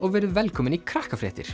og verið velkomin í